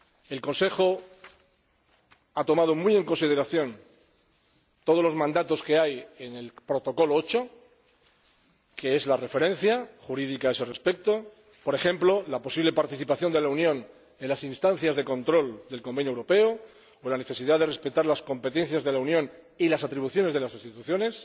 El Consejo ha tomado muy en consideración todos los mandatos que hay en el Protocolo 8, que es la referencia jurídica a ese respecto. Por ejemplo, la posible participación de la Unión en las instancias de control del Convenio Europeo o la necesidad de respetar las competencias de la Unión y las atribuciones de las instituciones.